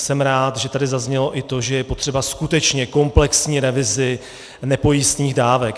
Jsem rád, že tady zaznělo i to, že je potřebná skutečně komplexní revize nepojistných dávek.